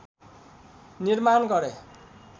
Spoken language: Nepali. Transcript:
निर्माण गरे